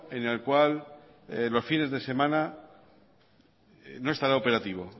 en el cual los fines de semana no estará operativo